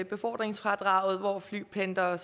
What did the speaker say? befordringsfradraget hvor flypendlere